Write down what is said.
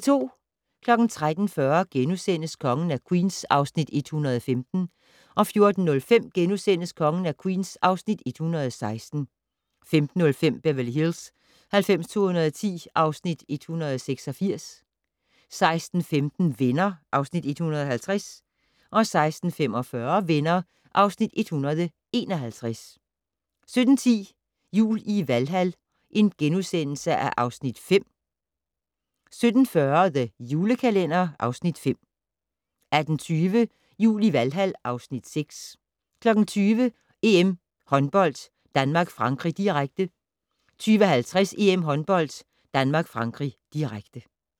13:40: Kongen af Queens (Afs. 115)* 14:05: Kongen af Queens (Afs. 116)* 15:05: Beverly Hills 90210 (Afs. 186) 16:15: Venner (Afs. 150) 16:45: Venner (Afs. 151) 17:10: Jul i Valhal (Afs. 5)* 17:40: The Julekalender (Afs. 5) 18:20: Jul i Valhal (Afs. 6) 20:00: EM Håndbold: Danmark-Frankrig, direkte 20:50: EM Håndbold: Danmark-Frankrig, direkte